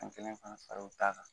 An kelen fana k'o d'a kan